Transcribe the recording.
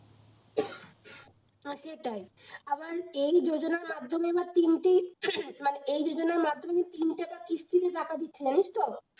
হ্যাঁ সেটাই আবার এই যোজনার মাধ্যমে আবার তিনটে মানে এই যোজনার মাধ্যমে তিনবরে কিস্তিতে টাকা দিচ্ছে জানিস তো